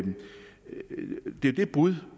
er det brud